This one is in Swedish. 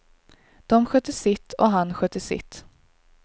De skötte sitt, och han skötte sitt.